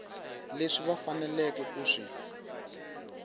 leswi va faneleke ku swi